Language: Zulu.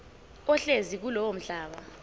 ohlezi kulowo mhlaba